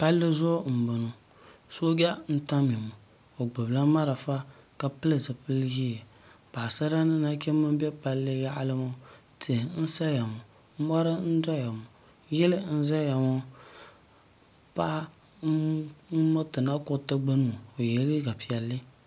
pali zuɣ' n bɔŋɔ soja n tamya ŋɔ o gbabila mariƒɔ ka piɛli zipiɛli ʒiɛ paɣ' sara ni nachimba bɛ pali yaɣ' li ŋɔ tihi n saya ŋɔ mori n soya ŋɔ yili n zaya ŋɔ paɣ' n ŋɔtɛ o yɛla liga piɛli